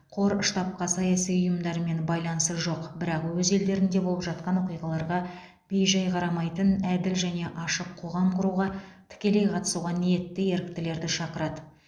қор штабқа саяси ұйымдармен байланысы жоқ бірақ өз елдерінде болып жатқан оқиғаларға бей жай қарамайтын әділ және ашық қоғам құруға тікелей қатысуға ниетті еріктілерді шақырады